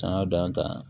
Sanga d'an ta ye